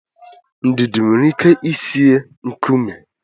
Ndidi nwere ike ị sie nkume.